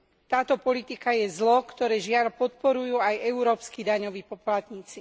Táto politika je zlo, ktoré žiaľ podporujú aj európski daňoví poplatníci.